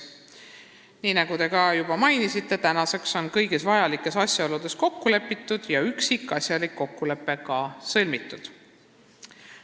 Nii nagu te juba mainisite, tänaseks on kõigis asjaoludes kokku lepitud ja üksikasjalik kokkulepe sõlmitud.